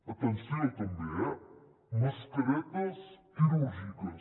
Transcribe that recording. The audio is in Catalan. atenció també eh mascaretes quirúrgiques